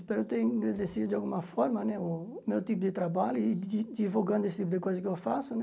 Espero ter agradecido de alguma forma né o meu tipo de trabalho e di divulgando esse tipo de coisa que eu faço, né?